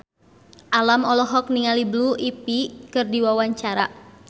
Alam olohok ningali Blue Ivy keur diwawancara